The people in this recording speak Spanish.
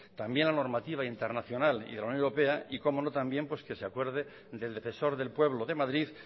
también la normativa internacional y de la unión europea y cómo no también pues que se acuerde del defensor del pueblo de madrid